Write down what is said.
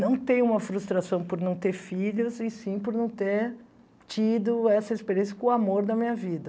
Não tenho uma frustração por não ter filhos, e sim por não ter tido essa experiência com o amor da minha vida.